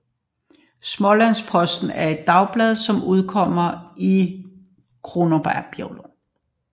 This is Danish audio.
Smålandsposten er et dagblad som udkommer i Kronobergs län